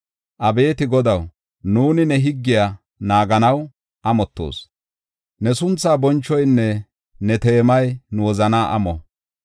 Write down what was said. Abeeti Godaw, nuuni ne higgiya naaganaw amottoos; ne sunthaa bonchoynne ne teemay nu wozanaa amo.